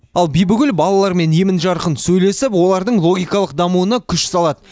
ал бибігүл балалармен емен жарқын сөйлесіп олардың логикалық дамуына күш салады